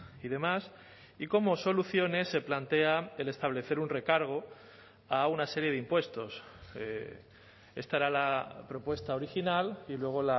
y demás y como soluciones se plantea el establecer un recargo a una serie de impuestos esta era la propuesta original y luego